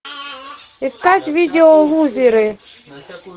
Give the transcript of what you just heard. искать видео лузеры